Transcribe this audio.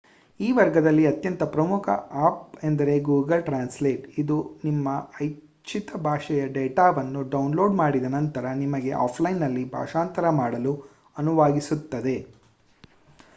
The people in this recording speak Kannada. ಈ ವರ್ಗದಲ್ಲಿ ಅತ್ಯಂತ ಪ್ರಮುಖ ಅಪ್ ಎಂದರೆ ಗೂಗಲ್ ಟ್ರಾನ್ಸ್‌ಲೇಟ್ ಅದು ನಿಮ್ಮ ಇಚ್ಚಿತ ಭಾಷೆಯ ಡಾಟಾವನ್ನು ಡೌನ್‌ಲೋಡ್ ಮಾಡಿದ ನಂತರ ನಿಮಗೆ ಆಫ್‌ಲೈನ್‍‌ನಲ್ಲಿ ಭಾಷಾಂತರ ಮಾಡಲು ಅನುವಾಗಿಸುತ್ತದೆ